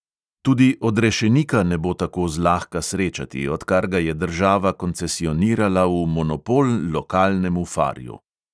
Tudi odrešenika ne bo tako zlahka srečati, odkar ga je država koncesionirala v monopol lokalnemu farju.